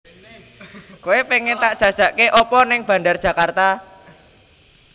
Koe pengen tak jajake opo ning Bandar Djakarta?